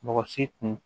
Mɔgɔ si tun